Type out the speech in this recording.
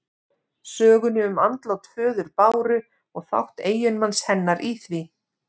Sögunni um andlát föður Báru og þátt eiginmanns hennar í því.